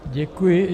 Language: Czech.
Děkuji.